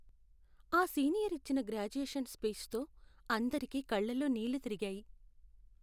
ఆ సీనియర్ ఇచ్చిన గ్రాడ్యుయేషన్ స్పీచ్తో అందరికీ కళ్లలో నీళ్ళు తిరిగాయి.